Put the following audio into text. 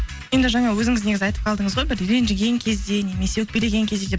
енді жаңа өзіңіз негізі айтып қалдыңыз ғой бір ренжіген кезде немесе өкпелеген кезде деп